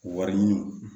Wari ɲini